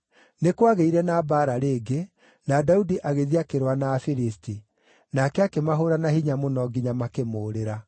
Nĩ kwagĩire na mbaara rĩngĩ, na Daudi agĩthiĩ akĩrũa na Afilisti. Nake akĩmahũũra na hinya mũno nginya makĩmũũrĩra.